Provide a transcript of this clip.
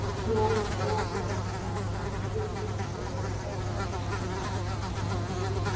Blóm, öryggisvarsla, samningar upp á stjarnfræðilegar upphæðir.